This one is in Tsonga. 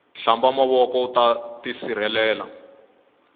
hlamba mavoko uta tisirhelela